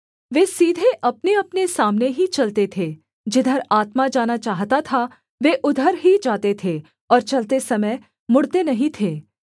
वे सीधे अपनेअपने सामने ही चलते थे जिधर आत्मा जाना चाहता था वे उधर ही जाते थे और चलते समय मुड़ते नहीं थे